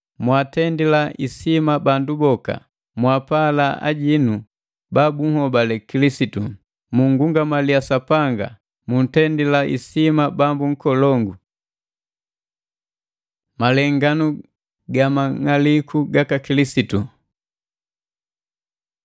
Mwaatendila isima bandu boka, mwapala ajinu babunhobale Kilisitu, mungungamaliya Sapanga, mutendila isima bambu nkolongu. Malenganu ga Mang'aliku gaka Kilisitu